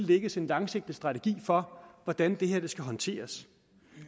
lægges en langsigtet strategi for hvordan det her skal håndteres